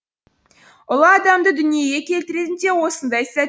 ұлы адамды дүниеге келтіретін де осындай сәт